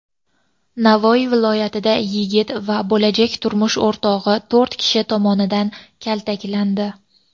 Navoiy viloyatida yigit va bo‘lajak turmush o‘rtog‘i to‘rt kishi tomonidan kaltaklandi.